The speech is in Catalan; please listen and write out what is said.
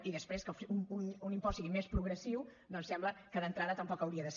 i després que un impost sigui més progressiu doncs sembla que d’entrada tampoc hauria de ser